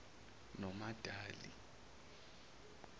nomadali